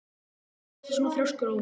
Af hverju ertu svona þrjóskur, Ómi?